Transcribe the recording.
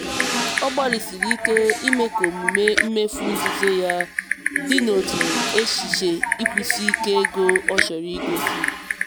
ọ gbalịsiri ike ime ka omume mmefu nzuzo ya dị n'otu echiche ịkwụsike ego ọ chọrọ igosi.